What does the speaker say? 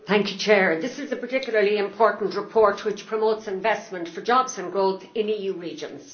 Mr President, this is a particularly important report, which promotes investment for jobs and growth in EU regions.